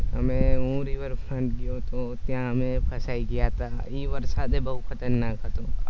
અને હુ river front પર ગયો હતો ત્યા અમે ફસાઈ ગયા હત એ વરસાદે બહુ ખતરનાક હતો.